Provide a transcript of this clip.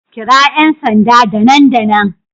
Kira 'yan sanda da nan da nan